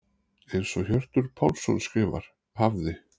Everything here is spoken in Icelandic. Eins og Hjörtur Pálsson skrifar: Hafði.